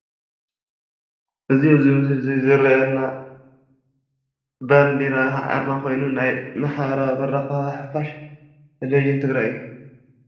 እዚ ኣብዚ ምስሊ እዚ ዝርአየና ባንዴራ ኣርማ ኾይኑ ናይ ማሕበራዊ መራኸቢ ሓፋሽ ቴሌቭዥን ትግራይ እዩ።